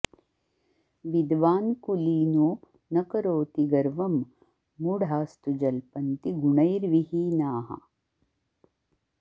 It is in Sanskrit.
विद्वान् कुलीनो न करोति गर्वं मुढास्तु जल्पन्ति गुणैर्वीहीनाः